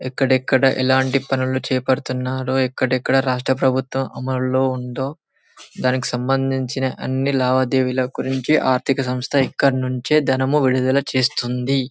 ఎక్కడ ఎక్కడ ఎలాంటి పన్నులు చెయ్య బడుతున్నారో ఎక్కడ ఎక్కడ రాష్ట్ర ప్రభుత్వం అమలులో ఉందొ దానికి సంబందించిన అన్నీ లావాదేవీల గురించి ఆర్థిక సంస్థ ఇక్కడి నుంచే ధనము విడుదల చేస్తుంది.